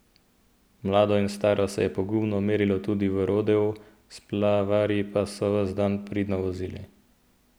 Mlado in staro se je pogumno merilo tudi v rodeu, splavarji pa so ves dan pridno vozili.